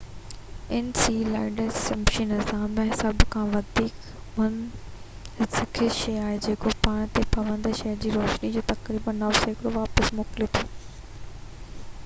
Enceladus شمسي نظام ۾ سڀ کان وڌيڪ منعڪس شي آهي جيڪو پاڻ تي پوندڙ سج جي روشني جو تقريبن 90 سيڪڙو واپس موڪلي ٿو